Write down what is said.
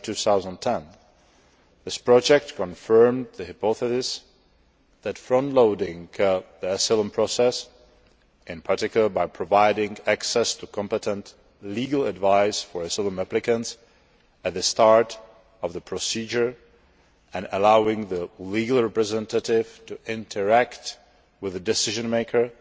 2010. This project confirmed the hypothesis that front loading the asylum process in particular, by providing access to competent legal advice for asylum applicants at the start of the procedure and allowing the legal representative to interact with the decision maker